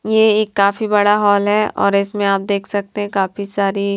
ये एक काफी बड़ा हॉल है और इसमे आप देख सकते काफी सारी--